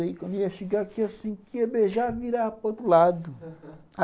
Aí, quando ia chegar aqui, assim, ia beijar e virar para o outro lado